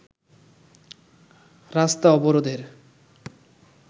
রাস্তা অবরোধের